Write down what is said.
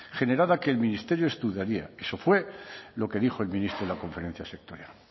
generada que el ministerio estudiaría eso fue lo que dijo el ministro en la conferencia sectorial